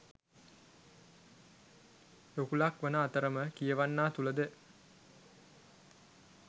රුකුලක් වන අතරම කියවන්නා තුළද